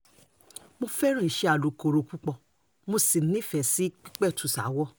mo fẹ́ràn iṣẹ́ alùkòrò púpọ̀ mo sì nífẹ̀ẹ́ sí pípẹ̀tù ṣaáwọ̀